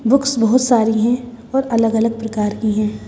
Books बहुत सारी हैं और अलग-अलग प्रकार की हैं।